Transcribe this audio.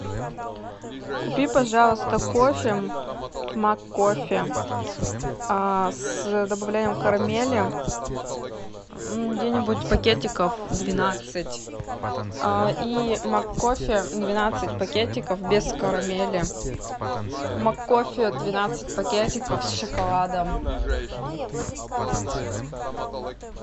купи пожалуйста кофе маккофе с добавлением карамели где нибудь пакетиков двенадцать и маккофе двенадцать пакетиков без карамели маккофе двенадцать пакетиков с шоколадом